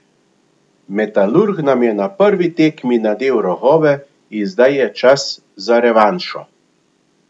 Metalurg nam je na prvi tekmi nadel rogove in zdaj je čas za revanšo.